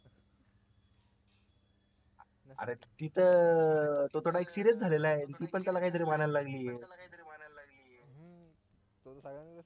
अरे ती तर तो थोडा serious झालेला आहे ती पण त्याला काहीतरी म्हणायला लागलेली आहे